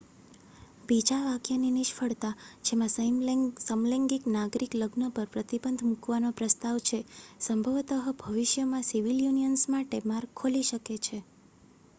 બીજા વાક્યની નિષ્ફળતા, જેમાં સમલૈંગિક નાગરિક લગ્ન પર પ્રતિબંધ મૂકવાનો પ્રસ્તાવ છે, સંભવત: ભવિષ્યમાં સિવિલ યુનિયનસ માટે માર્ગ ખોલી શકે છે